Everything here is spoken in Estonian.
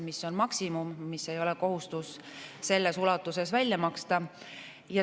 See on maksimum, seda ei ole kohustus selles ulatuses välja maksta.